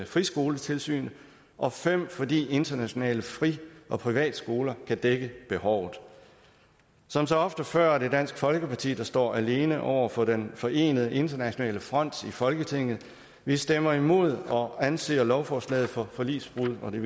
friskoletilsynet og 5 fordi internationale fri og privatskoler kan dække behovet som så ofte før er det dansk folkeparti der står alene over for den forenede internationale front i folketinget vi stemmer imod og anser lovforslaget for forligsbrud og det